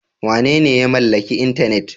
Wanene ya mallaki intanet?